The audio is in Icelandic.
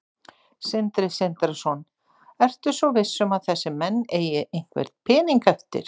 Sindri Sindrason: Ertu svo viss um að þessir menn eigi einhvern pening eftir?